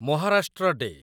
Maharashtra day